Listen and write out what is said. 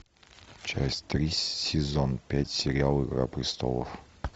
часть три сезон пять сериал игра престолов